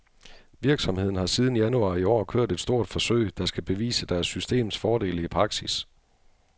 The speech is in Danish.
Virksomheden har siden januar i år kørt et stort forsøg, der skal bevise deres systems fordele i praksis.